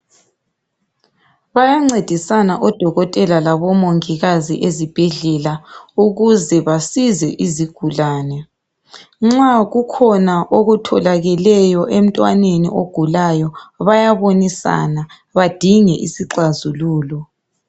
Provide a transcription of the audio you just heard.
Bayancedisana odokotela labomongikazi ezibhedlela ukuze basize izigulane. Nxa kukhona okutholakeleyo emntwaneni ogulayo bayabonisana badinge isixazululo.